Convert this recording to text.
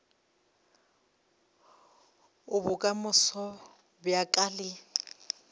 a bokamoso bja ka le